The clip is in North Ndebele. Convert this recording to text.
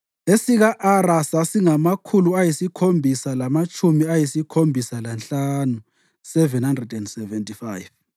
esika-Ara sasingamakhulu ayisikhombisa lamatshumi ayisikhombisa lanhlanu (775),